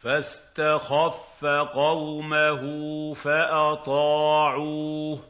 فَاسْتَخَفَّ قَوْمَهُ فَأَطَاعُوهُ ۚ